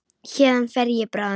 Héðan fer ég bráðum.